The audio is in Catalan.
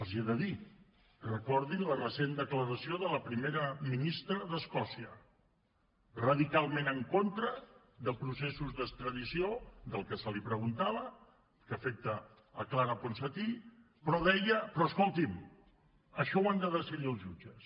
els hi he de dir recordin la recent declaració de la primera ministra d’escòcia radicalment en contra de processos d’extradició del que se li preguntava que afecta clara ponsatí però deia però escolti’m això ho han de decidir els jutges